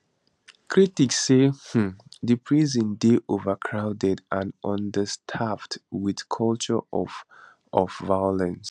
critics say um di prison dey overcrowded and understaffed wit culture of of violence